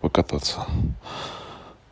покататься